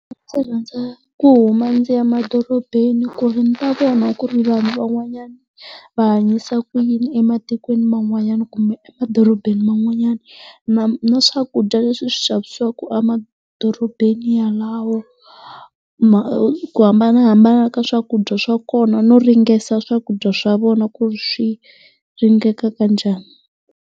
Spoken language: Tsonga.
Ndzi rhandza ku huma ndzi ya emadorobeni ku ri ni ta vona ku ri vanhu van'wanyana va hanyisa ku yini ematikweni man'wanyana kumbe e emadorobeni man'wanyana, na na swakudya leswi swi xavisiwaka emadorobeni yalawo ku hambanahambana ka swakudya swa kona no ringeta swakudya swa vona ku ri swi ringeka kanjhani.